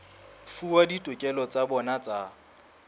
fuwa ditokelo tsa bona tsa